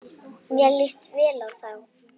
Mér líst vel á þá.